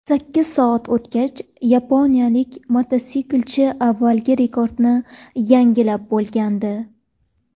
Sakkiz soat o‘tgach, yaponiyalik mototsiklchi avvalgi rekordni yangilab bo‘lgandi.